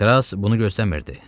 Kras bunu gözləmirdi.